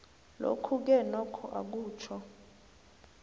lokhuke nokho akutjho